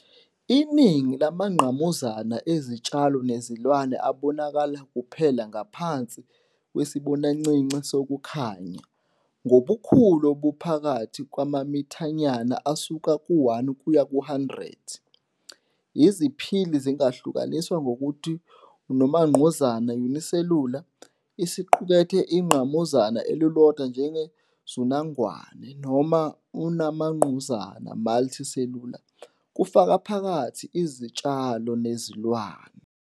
Iningi lamangqamuzana ezitshalo nezilwane abonakala kuphela ngaphansi kwesibonancinci sokukhanya, ngobukhulu obuphakathi kwamamithanyana asuka ku-1 kuya ku-100. Iziphili zingahlukaniswa ngokuthi unongqamuzana "unicellular", siqukethe ingqamuzana elilodwa njengeZinungwana, noma umangqamuzana "multicellular", kufaka phakathi izitshalo nezilwane.